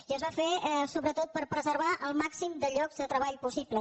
i es va fer sobretot per preservar el màxim de llocs de treball possibles